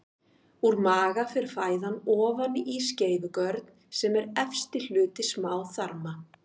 Úr maga fer fæðan ofan í skeifugörn sem er efsti hluti smáþarma.